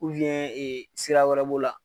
ee sira wɛrɛw b'o la.